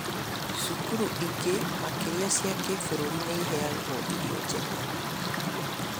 Cukuru ingĩ makĩria cia kĩbũrũri nĩmaheagwo irio njega